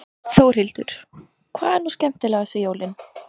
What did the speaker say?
Þórhildur: Hvað er nú skemmtilegast við jólin?